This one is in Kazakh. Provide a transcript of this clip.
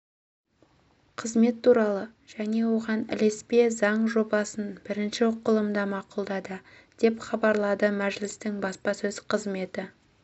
қызмет туралы және оған ілеспе заң жобасын бірінші оқылымда мақұлдады деп хабарлады мәжілістің баспасөз қызметі